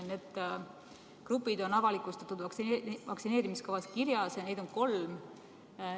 Need grupid on avalikustatud, need on vaktsineerimiskavas kirjas ja neid on kolm.